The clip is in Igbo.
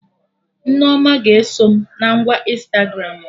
Nneoma ga-eso m na ngwa Ịnstagramụ